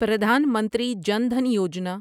Pradhan Mantri Jan Dhan Yojana